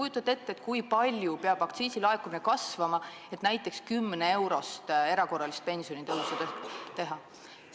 Kas te kujutate ette, kui palju peab aktsiisilaekumine kasvama, et näiteks 10-eurone erakorraline pensionitõus võimalik oleks?